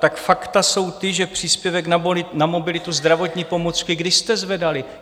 Tak fakta jsou ta, že příspěvek na mobilitu, zdravotní pomůcky, kdy jste zvedali?